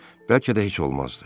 Bəlkə də heç olmazdı.